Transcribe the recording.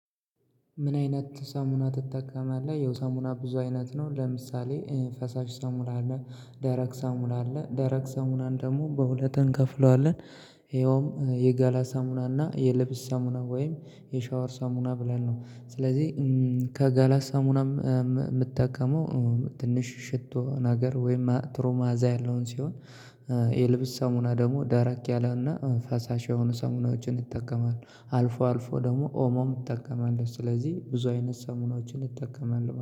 ምን አይነት ሳሙና ትጠቀማለህ? ይኸው ሳሙና ብዙ አይነት ነው ለምሳሌ ፈሳሽ ሳሙና አለ ደረቅ ሳሙና አለ ደረቅ ሳሙናን ደግሞ በሁለት እንከፍለዋለን። ይኸውም የገላ ሳሙናና የልብስ ሳሙና ወይም የሻወር ሳሙና ብለን ነው። ስለዚህ ከገላ ሳሙናም ምጠቀመው ትንሽ ሽቶ ነገር ወይም ጥሩ ማዕዛ ያለውን ሲሆን። የልብስ ሳሙና ደግሞ ደረቅ ያለና ፈሳሽ የሆኑ ሳሙናዎችን ይጠቀማል አልፎ አልፎ ደግሞ ኦሞም እጠቀማለሁ። ስለዚህ ብዙ አይነት ሳሙናዎችን እጠቀማለሁ